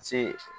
Se